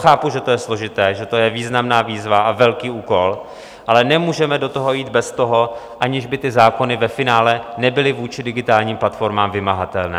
Chápu, že to je složité, že to je významná výzva a velký úkol, ale nemůžeme do toho jít bez toho, aniž by ty zákony ve finále nebyly vůči digitálním platformám vymahatelné.